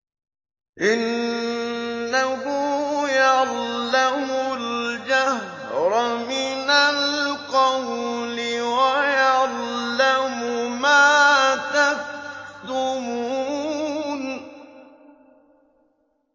إِنَّهُ يَعْلَمُ الْجَهْرَ مِنَ الْقَوْلِ وَيَعْلَمُ مَا تَكْتُمُونَ